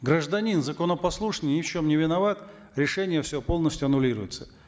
гражданин законопослушный ни в чем не виноват решение все полностью аннулируется